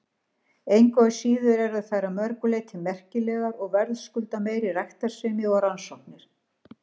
Engu að síður eru þær að mörgu leyti merkilegar og verðskulda meiri ræktarsemi og rannsóknir.